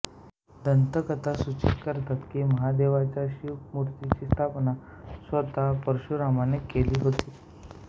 दंतकथा सूचित करतात की महादेवाच्या शिव मूर्तीची स्थापना स्वत परशुरामांनी केली होती